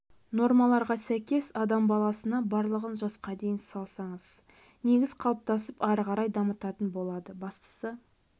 нормаларға сәйкес адам баласына барлығын жасқа дейін салсаңыз негіз қалыптасып ары қарай дамытатын болады бастысы